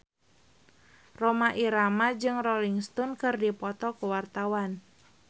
Rhoma Irama jeung Rolling Stone keur dipoto ku wartawan